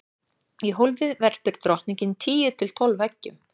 í hólfið verpir drottningin tíu til tólf eggjum